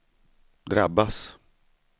drabbas